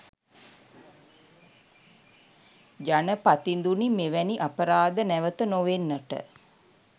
ජනපතිඳුනි මෙවැනි අපරාධ නැවත නොවෙන්නට